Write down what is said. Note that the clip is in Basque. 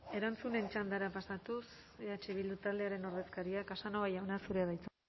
erantzunen txandara pasatuz eh bildu taldearen ordezkaria casanova jauna zurea da hitza